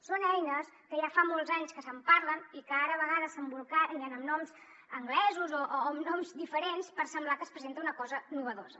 són eines que ja fa molts anys que se’n parla i que ara a vegades s’embolcallen amb noms anglesos o amb noms diferents per semblar que es presenta una cosa nova